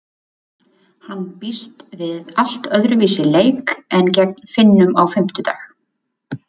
Hann býst við allt öðruvísi leik en gegn Finnum á fimmtudag.